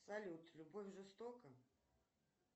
салют любовь жестока